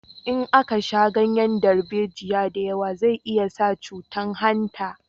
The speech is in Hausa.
In aka sha ganyen darbejiya da yawa zai iya sa cutan hanta